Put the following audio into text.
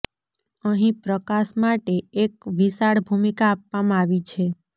અહીં પ્રકાશ માટે એક વિશાળ ભૂમિકા આપવામાં આવી છે